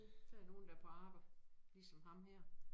Der nogen der på arbejde ligesom ham her